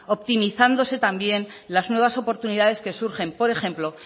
optimizándose también las nuevas oportunidades que surgen por ejemplo